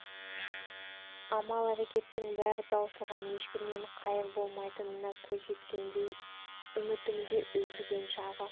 амал-әрекеттің бәрі таусылған ешкімнен қайыр болмайтынына көз жеткендей үміттің де үзілген шағы